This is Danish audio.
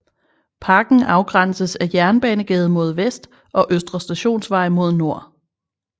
Parken afgrænses af Jernbanegade mod vest og Østre Stationsvej mod nord